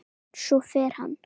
Svo fer hann.